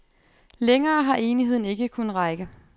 Længere har enigheden ikke kunnet række.